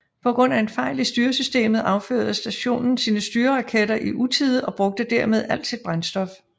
På grund af en fejl i styresystemet affyrede stationen sine styreraketter i utide og brugte dermed alt sit brændstof